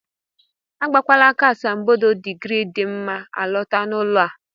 Agbakwala aka asambodo digrii dị mma alọta n'ụlọ a!